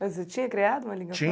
Mas você tinha criado uma língua pró...